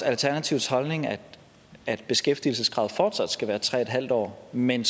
alternativets holdning at at beskæftigelseskravet fortsat skal være tre en halv år men